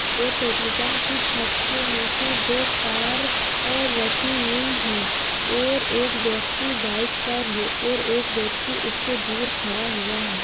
और petrol pump की छत के नीचे दो कार अ रखी हुई है और एक व्यक्ति बाइक पर है और एक व्यक्ति उससे दुर खड़ा हुआ है।